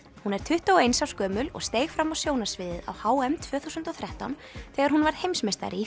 hún er tuttugu og eins árs gömul og steig fram á sjónarsviðið á h m tvö þúsund og þrettán þegar hún varð heimsmeistari í